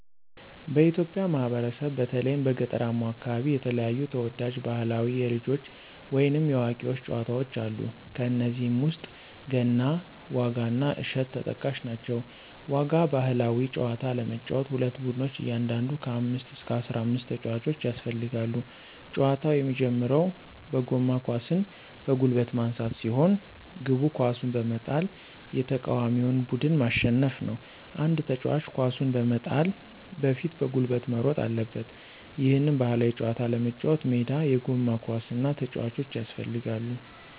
በኢትዮጵያ ማህበረሰብ በተለይም በገጠራማው አከባቢ የተለያዩ ተወዳጅ ባህላዊ የልጆች ወይንም የአዋቂዎች ጨዋታወች አሉ። ከነዚህም ውስጥ ገና፣ ዋጋ እና እሸት ተጠቃሽ ናቸው። ዋጋ ባህላዊ ጨዋታ ለመጫወት ሁለት ቡድኖች እያንዳንዱ ከ አምስት እስከ አስራአምስት ተጫዋቾች ያስፈልጋሉ። ጨዋታው የሚጀምረው በጎማ ኳስን በጉልበት ማንሳት ሲሆን፤ ግቡ ኳሱን በመጣል የተቃዋሚውን ቡድን ማሸነፍ ነው። አንድ ተጫዋች ኳሱን በመጣል በፊት በጉልበት መሮጥ አለበት። ይህን ባህላዊ ጨዋታ ለመጫወት ሜዳ፣ የጎማ ኳስ እና ተጫዋቾች ያስፈልጋሉ።